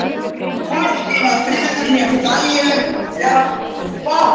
Hvorki var friður né nægileg fjárráð.